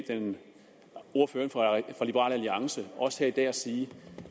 ordføreren for liberal alliance også her i dag at sige